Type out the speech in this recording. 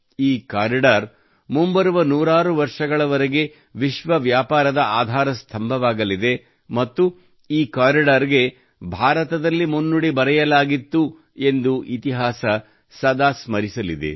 ಈ ಕಾರಿಡಾರ್ ಮುಂಬರುವ ನೂರಾರು ವರ್ಷಗಳವರೆಗೆ ವಿಶ್ವ ವ್ಯಾಪಾರದ ಆಧಾರಸ್ಥಂಭವಾಗಲಿದೆ ಮತ್ತು ಈ ಕಾರಿಡಾರ್ ಗೆ ಭಾರತದಲ್ಲಿ ಮುನ್ನುಡಿ ಬರೆಯಲಾಗಿತ್ತು ಎಂದು ಇತಿಹಾಸವು ಸದಾ ಸ್ಮರಿಸಲಿದೆ